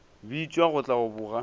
bitšwa go tla go boga